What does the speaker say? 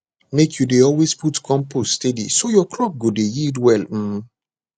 make you dey always put compost steady so your crop go dey yield well um